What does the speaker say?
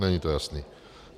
Není to jasné.